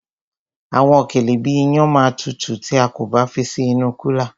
Àwọn òkèlè bíi iyán ma tutù tí a kò bá fi sí inú kúlà.